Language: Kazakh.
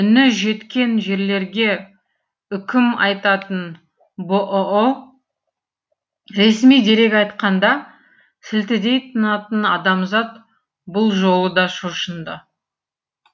үні жеткен жерлерге үкім айтатын бұұ ресми дерек айтқанда сілтідей тынатын адамзат бұл жолы да шошынды